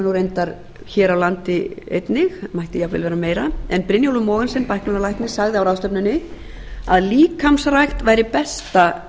er reyndar hér á landi einnig mætti jafnvel vera meira en brynjólfur mogensen bæklunarlæknir sagði á ráðstefnunni að líkamsrækt væri besta